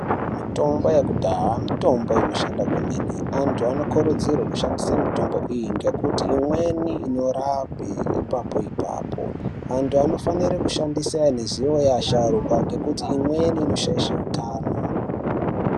Mitombo yakudhaa mitombo inoshanda kwemene anthu anokurudzirwe kushandise mitombo iyi nekuti imweni inorape ipapo ipapo anthu anofanire kushandisa ane zivo yevasharukwa ngekuti imweni inoshaishe utano.